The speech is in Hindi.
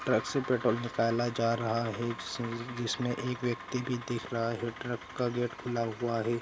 ट्रक से पेट्रोल निकाल जा रहा है | जिसमे-जिसमे एक व्यक्ति भी दिख रहा है ट्रक का गेट खुला हुआ है ।